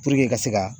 ka se ka